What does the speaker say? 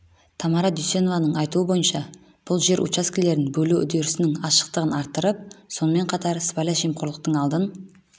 тамара дүйсенованың айтуы бойынша бұл жер учаскелерін бөлу үдерісінің ашықтығын арттырып сонымен қатар сыбайлас жемқорлықтың алдын